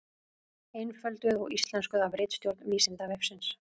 Einfölduð og íslenskuð af ritstjórn Vísindavefsins.